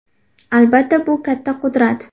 Albatta, bu katta qudrat.